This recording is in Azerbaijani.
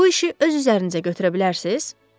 bu işi öz üzərinizə götürə bilərsiniz?